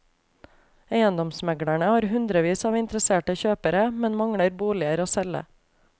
Eiendomsmeglerne har hundrevis av interesserte kjøpere, men mangler boliger å selge.